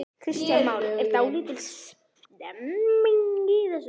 Kristján Már: Er dálítil stemning í þessu?